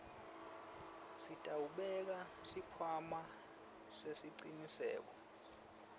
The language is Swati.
sitawubeka sikhwama sesicinisekiso